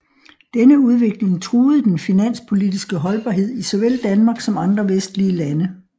Denne udvikling truede den finanspolitiske holdbarhed i såvel Danmark som andre vestlige lande